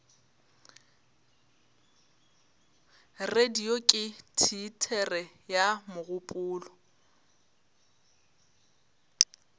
radio ke teatere ya mogopolo